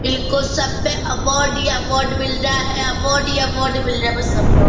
इलको सब पे अवार्ड ही अवार्ड मिल रहा है अवार्ड ही अवार्ड मिल रहा बस अवार्ड --